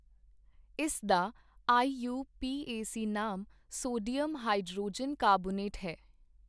ਇਸ ਦਾ ਆਈਊਪੀਏਸੀ ਨਾਮ ਸੋਡਿਅਮ ਹਾਇਡਰੋਜਨ ਕਾਰਬੋਨੇਟ ਹੈ।